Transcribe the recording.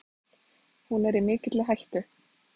Hún er í mikilli hættu.